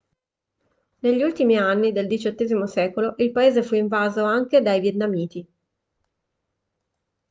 negli ultimi anni del xviii secolo il paese fu invaso anche dai vietnamiti